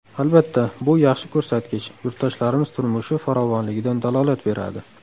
Albatta, bu yaxshi ko‘rsatkich, yurtdoshlarimiz turmushi farovonligidan dalolat beradi.